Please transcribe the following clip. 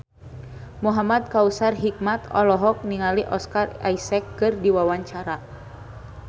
Muhamad Kautsar Hikmat olohok ningali Oscar Isaac keur diwawancara